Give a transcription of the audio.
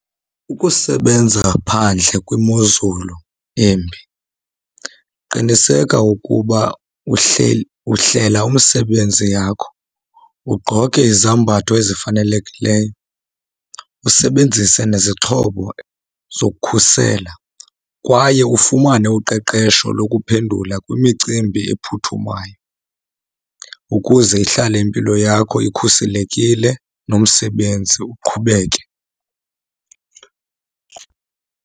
Ukusebenza phandle kwimozulu embi qiniseka ukuba uhlela umsebenzi yakho, ugqoke izambatho ezifanelekileyo, usebenzise nezixhobo zokukhusela kwaye ufumane uqeqesho lokuphendula kwimicimbi ephuthumayo, ukuze ihlale impilo yakho ikhuselekile nomsebenzi uqhubeke.